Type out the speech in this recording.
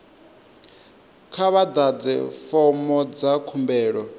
kha vha ḓadze fomo dza khumbelo